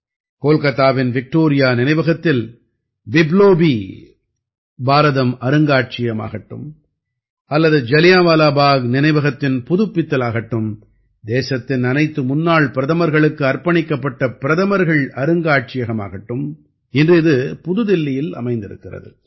கோல்காத்தாவின் Victoria நினைவகத்தில் பிப்லோபீ பாரதம் அருங்காட்சியகமாகட்டும் அல்லது ஜலியான்வாலா பாக் நினைவகத்தின் புதுப்பித்தலாகட்டும் தேசத்தின் அனைத்து முன்னாள் பிரதமர்களுக்கு அர்ப்பணிக்கப்பட்ட பிரதமர்கள் அருங்காட்சியகமாகட்டும் இன்று இது தில்லியில் அமைந்திருக்கிறது